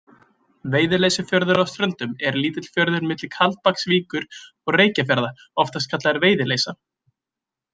Veiðileysufjörður á Ströndum er lítill fjörður milli Kaldbaksvíkur og Reykjarfjarðar, oftast kallaður Veiðileysa.